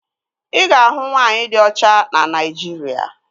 Ị ga-ahụ nwaanyị di ọcha na Naịjirịa